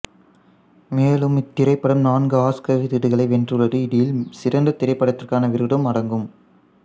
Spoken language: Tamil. மேலும் இத்திரைப்படம் நான்கு ஆஸ்கர் விருதுகளை வென்றுள்ளது இதில் சிறந்த திரைப்படத்திற்கான விருதும் அடக்கம்